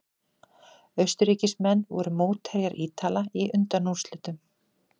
Austurríkismenn voru mótherjar Ítala í undanúrslitum.